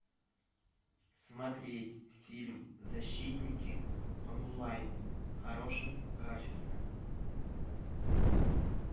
смотреть фильм защитники онлайн в хорошем качестве